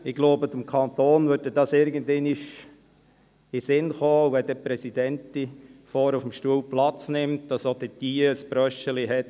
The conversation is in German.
Ich glaube aber, es wird dem Kanton irgendwann einmal in den Sinn kommen, damit wenn eine Präsidentin vorne auf dem Stuhl Platz nimmt, auch sie eine passende Brosche hat.